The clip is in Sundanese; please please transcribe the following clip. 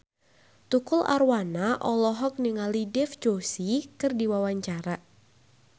Tukul Arwana olohok ningali Dev Joshi keur diwawancara